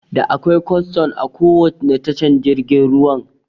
Da akwai kwastan a kowanne tashar jirgin ruwan